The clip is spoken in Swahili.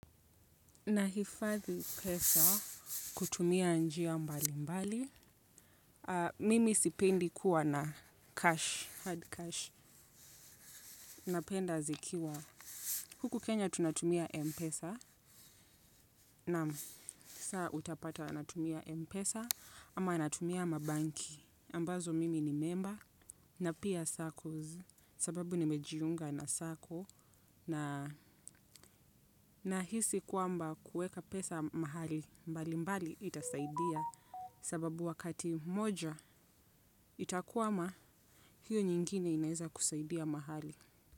Nahifadhi pesa kutumia njia mbali mbali. Mimi sipendi kuwa na cash, hard cash. Napenda zikiwa, huku Kenya tunatumia Mpesa. Naam, saaa utapata natumia Mpesa ama anatumia mabenki. Ambazo mimi ni member na pia saccos sababu nimejiunga na sacco nahisi kwamba kuweka pesa mahali mbali mbali itasaidia sababu wakati moja itakwama hiyo nyingine inaweza kusaidia mahali.